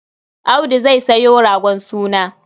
Audu zai sayo ragon suna.